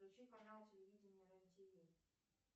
включи канал телевидения рен тв